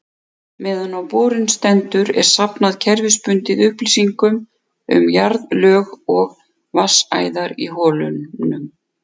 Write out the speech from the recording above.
Meðan á borun stendur er safnað kerfisbundið upplýsingum um jarðlög og vatnsæðar í holunum.